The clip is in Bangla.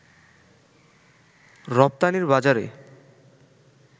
রপ্তানির বাজারে